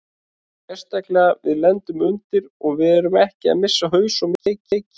Sérstaklega við lendum undir og við erum ekki að missa haus og missa leikinn.